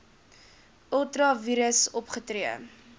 ultra vires opgetree